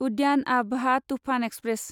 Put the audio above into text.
उद्यान आबहा टुफान एक्सप्रेस